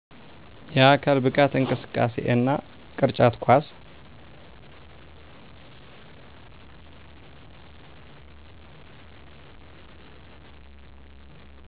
የአካል ብቃት እንቅስቃሴ እና ቅርጫት ኳስ